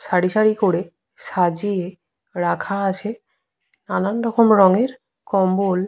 সারি সারি করে সাজিয়ে রাখা আছে। নানান রকম রংয়ের কম্বল।